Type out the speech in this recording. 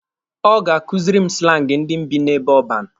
Ọ ga-akuziri m slangi ndị bi n'ebe ọban.